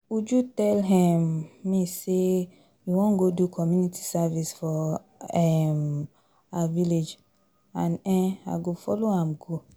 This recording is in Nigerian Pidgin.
Uju tell um me say she wan go do community service for um her village and um I go follow am go